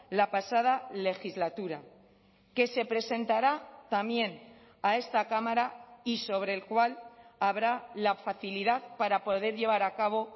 la pasada legislatura que se presentará también a esta cámara y sobre el cual habrá la facilidad para poder llevar a cabo